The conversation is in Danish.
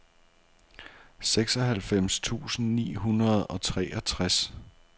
seksoghalvfems tusind ni hundrede og treogtres